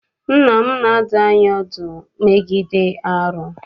Nne m na-adụ anyị ọdụ megide arụ.